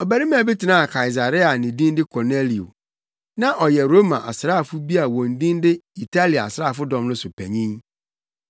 Ɔbarima bi tenaa Kaesarea a ne din de Kornelio. Na ɔyɛ Roma asraafo bi a wɔn din de Italia Asraafodɔm no so panyin.